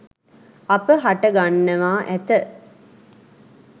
අප හට ගන්නවා ඇත.